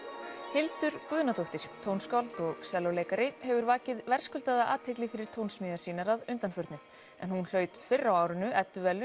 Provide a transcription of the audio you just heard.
Hildur Guðnadóttir tónskáld og sellóleikari hefur vakið verðskuldaða athygli fyrir tónsmíðar sínar að undanförnu en hún hlaut fyrr á árinu